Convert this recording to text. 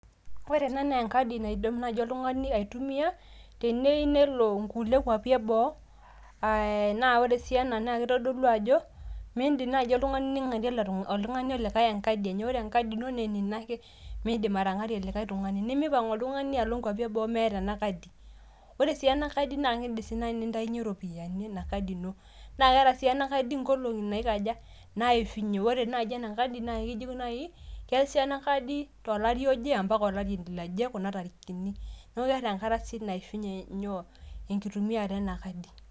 Kore enaa naa enkaadi naadim najo illtung'ani aitumia, teneyeu nelo kule kwaapi ebuo na ore si anaa na ketodoluu ajo meidim naajo illtung'ani ning'aree oltung'ani likai enkaadi enoo. Ore nkaadi enoo naa ninoo ake miidim atang'aree likai illtung'ani. Nimipong' illutang'ani aloo kwaapi mieta ana nkaadi. Ore si anaa nkaadi na keedim sii entaiye ropiani nakaadi inoo. Naa keeta sii taa ana nkaadi nkolong'i naikaji naifinyi. Ore naaji ana nkaadi naa kijokini ake keesisho anaa nkaadi ntolaari aji mbaaka elaari laiaje kuna tarikitini ore teng'ataa naishuunye nyoo ankitumiata ena nkaadi.